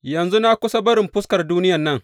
Yanzu na kusa barin fuskar duniyan nan.